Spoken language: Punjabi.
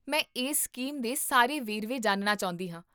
ਮੈਂ ਇਸ ਸਕੀਮ ਦੇ ਸਾਰੇ ਵੇਰਵੇ ਜਾਣਨਾ ਚਾਹੁੰਦੀ ਹਾਂ